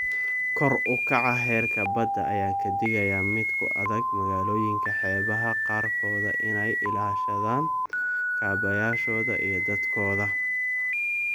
Kor u kaca heerka badda ayaa ka dhigaya mid ku adag magaalooyinka xeebaha qaarkood inay ilaashadaan kaabayaashooda iyo dadkooda.